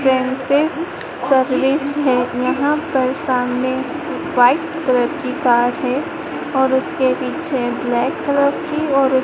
service है यहां पर सामने व्हाइट कलर की कार है और उसके पीछे ब्लैक कलर की और--